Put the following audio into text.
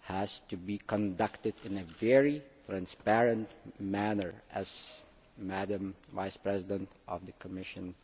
has to be conducted in a very transparent manner, as the Vice President of the Commission said